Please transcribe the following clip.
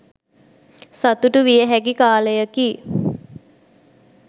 සතුටු වියහැකි කාලයකි.